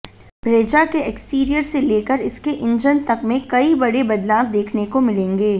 Brezza के exterior से लेकर इसके इंजन तक में कई बड़े बदलाव देखने को मिलेंगे